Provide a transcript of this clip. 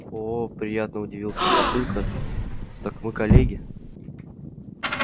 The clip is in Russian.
оо приятно удивился папулька так мы коллеги